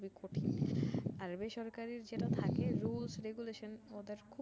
আরে ভাই সরকারির যেইটা থাকে rules regulation ওদের খুব